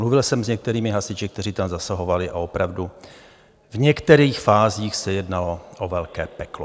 Mluvil jsem s některými hasiči, kteří tam zasahovali, a opravdu v některých fázích se jednalo o velké peklo.